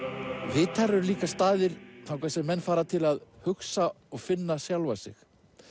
vitar eru líka staðir þangað sem menn fara til að hugsa og finna sjálfa sig